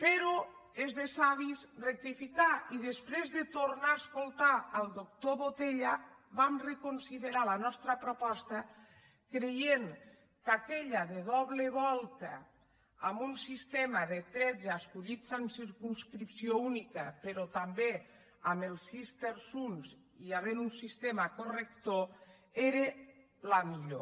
però és de savis rectificar i després de tornar a escoltar el doctor botella vam reconsiderar la nostra proposta i vam creure que aquella de doble volta en un sistema de tretze escollits en circumscrip·ció única però també amb els sis terçonsun sistema corrector era la millor